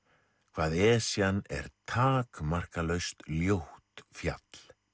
hvað Esjan er takmarkalaust ljótt fjall